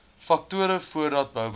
faktore voordat bouplanne